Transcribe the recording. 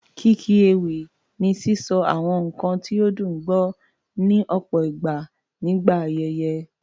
Kíkí ewì ni sísọ àwọn nǹkan ní ó dùn gbọ́, ní ọ̀pọ̀ ìgbà nígbà ayẹyẹ.